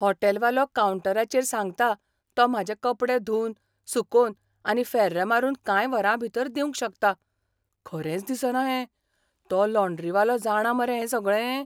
हॉटेलवालो कावंटराचेर सांगता तो म्हाजे कपडे धुवन, सुकोवन आनी फॅर्र मारून कांय वरांभीतर दिवंक शकता. खरेंच दिसना हें. तो लॉंड्रीवालो जाणा मरे हें सगळें?